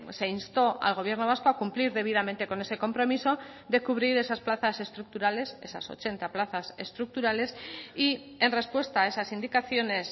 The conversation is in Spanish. se instó al gobierno vasco a cumplir debidamente con ese compromiso de cubrir esas plazas estructurales esas ochenta plazas estructurales y en respuesta a esas indicaciones